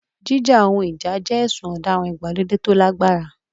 Jíjà ohun ìjà jẹ́ ẹ̀sùn ọ̀daràn ìgbàlódé tó lágbára.